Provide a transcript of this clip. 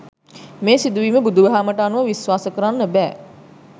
මේ සිදුවීම බුදු දහමට අනුව විශ්වාස කරන්න බෑ.